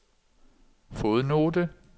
fodnote